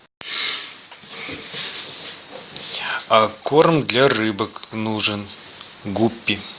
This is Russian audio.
корм для рыбок нужен гуппи